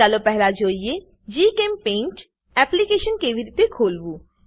ચાલો પહેલા જોઈએ જીચેમ્પેઇન્ટ એપ્લીકેશન કેવી રીતે ખોલવું